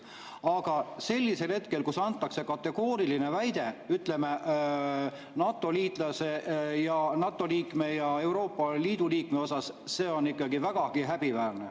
Aga selline hetk, kus esitatakse kategooriline väide, ütleme, meie NATO-liitlase ja NATO liikme ja Euroopa Liidu liikme kohta, on ikkagi vägagi häbiväärne.